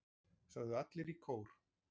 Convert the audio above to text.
sögðu allir í kór.